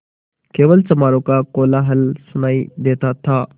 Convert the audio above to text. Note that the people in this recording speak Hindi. केवल चमारों का कोलाहल सुनायी देता था